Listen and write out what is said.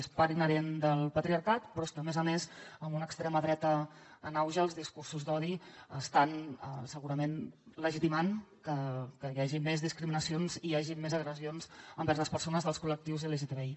és part inherent del patriarcat però és que a més a més amb una extrema dreta en auge els discursos d’odi estan segurament legitimant que hi hagi més discriminacions i hi hagi més agressions envers les persones dels col·lectius lgtbi